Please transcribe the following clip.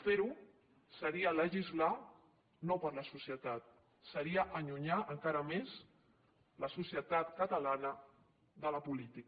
fer ho seria legislar no per a la societat seria allunyar encara més la societat catalana de la política